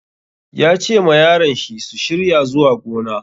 Ya ce ma yaran shi su shirya zuwa gona.